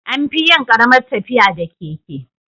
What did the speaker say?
Anfiyin Karamar tafiya da keke